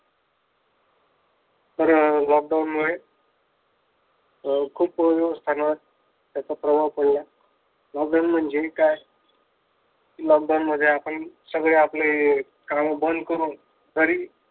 तर अं lockdown मुळे खूप व्यवस्थांवर त्याचा प्रभाव पडला. lockdown म्हणजे काय? lockdown मध्ये आपण सगळे आपले काम बंद करून घरी